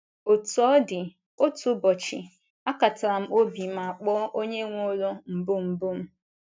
Otú ọ dị, otu ụbọchị, akatara m obi ma kpọọ onye nwe ụlọ mbụ mbụ m.